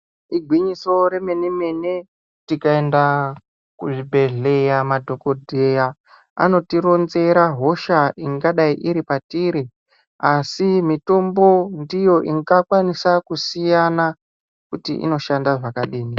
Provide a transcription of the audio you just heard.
Igwinyiso remene mene tikaenda kuzvibhehleya madhokodheya anotirodzera hosha ingadei iri patiri asi mitombo ndiyo inga kwanisa kusiyana kuti inoshanda zvakadini.